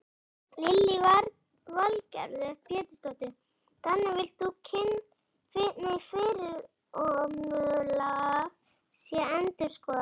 Lillý Valgerður Pétursdóttir: Þannig þú villt að fyrirkomulag sé endurskoðað?